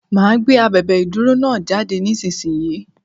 Máa gbé abèbè ìdúró náà jáde nísinsìnyí.